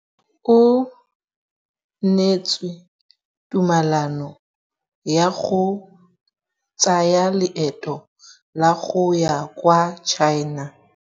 O neetswe tumalanô ya go tsaya loetô la go ya kwa China.